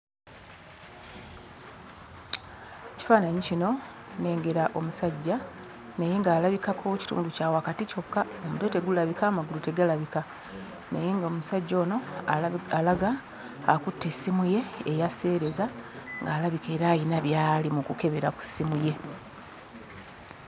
Ekifaananyi kino nnengera omusajja naye ng'alabikako kitundu kya wakati kyokka. Omutwe tegulabika, amagulu tegalabika naye ng'omusajja ono alaga akutte essimu ye eya sseereza ng'alabika era ayina by'ali mu kukebera ku ssimu ye.